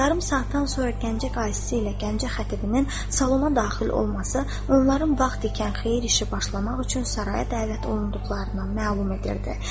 Yarım saatdan sonra Gəncə Qaysisi ilə Gəncə Xətibinin salona daxil olması onların vaxt ikən xeyir işi başlamaq üçün saraya dəvət olunduqlarını məlum edirdi.